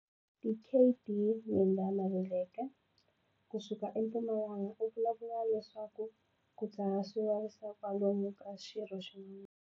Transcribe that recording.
Dkd Midah Maluleke ku suka eMpumalanga u vulavula leswaku ku dzaha swi vavisa kwalomu ka xirho xin'wana.